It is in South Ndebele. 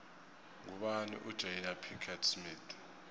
ngubani ujada pickett smith